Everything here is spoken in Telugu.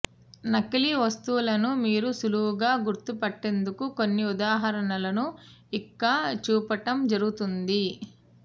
నకిలీ వస్తువులను మీరు సులువుగా గుర్తుపట్టేందుకు కొన్ని ఉదాహరణలను ఇక్క చూపటం జరుగోతోంది